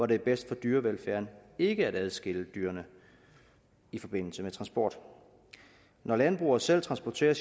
det er bedst for dyrevelfærden ikke at adskille dyrene i forbindelse med transport når landbrugere selv transporterer